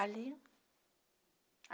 Ali.